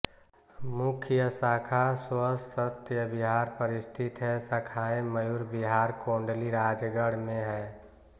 मुख्य शाखा स्वस्त्य विहार पर स्थित है शाखाएँ मयूर विहार कोंडली राजगढ़ में हैं